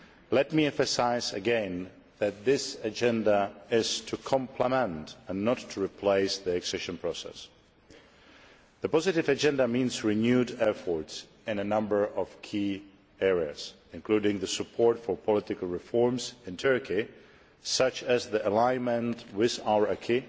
Let me emphasise once again that this agenda exists to complement and not to replace the accession process. The positive agenda means renewed efforts in a number of key areas, including support for political reforms in Turkey, such as the alignment with our acquis,